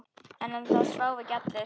En það sváfu ekki allir.